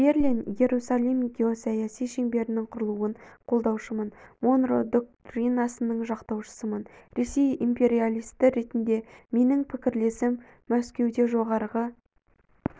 берлин иерусалим геосаяси шеңберініңқұрылуын қолдаушымын монро доктринасының жақтаушысымын ресей империалисті ретіндегі менің пікірлерім мәскеуде жоғарғы